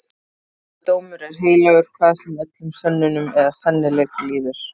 Helgur dómur er heilagur hvað sem öllum sönnunum eða sennileik líður.